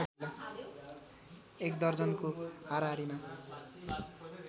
एक दर्जनको हाराहारीमा